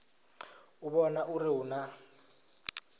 u vhona uri hu na